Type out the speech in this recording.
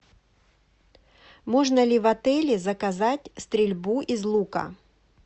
можно ли в отеле заказать стрельбу из лука